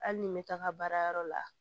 Hali ni n bɛ taga baarayɔrɔ la